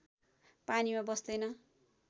पानीमा बस्दैन